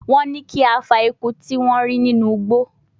Wọ́n ní kí a fa eku tí wọ́n rí nínú igbó